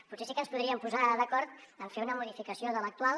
potser sí que ens podríem posar d’acord en fer una modificació de l’actual